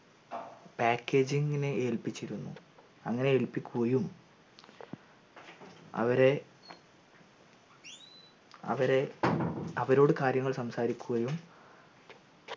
packaging നെ ഏൽപ്പിച്ചിരുന്നു അങ്ങനെ ഏൽപിക്കുകയും അവരെ അവരെ അവരോട് കാര്യങ്ങൾ സംസാരിക്കുകയും